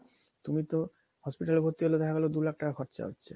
তুমি তো hospital এ ভর্তি হলে ওখানে দু লাখ টাকা খরচা হচ্ছে